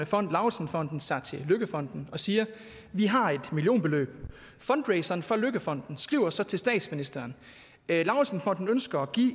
fond lauritzen fonden sig til løkkefonden og siger vi har et millionbeløb fundraiseren for løkkefonden skriver så til statsministeren lauritzen fonden ønsker at give